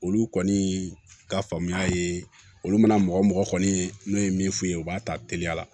Olu kɔni ka faamuya ye olu mana mɔgɔ mɔgɔ kɔni ye n'o ye min f'u ye u b'a ta teliya la